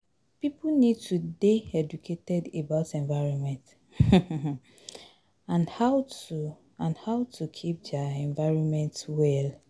Pipo need to dey educated about environment um and how to and how to keep their environment well